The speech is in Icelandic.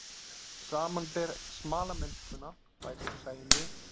Samanber smalamennskuna, bætir Sæunn við.